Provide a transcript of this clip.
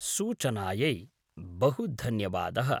सूचनायै बहु धन्यवादः।